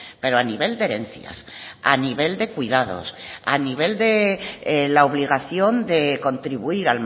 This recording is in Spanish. pero a nivel de herencias a nivel de cuidados a nivel de la obligación de contribuir